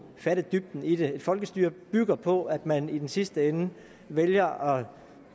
fatte dybden i det et folkestyre bygger på at man i den sidste ende vælger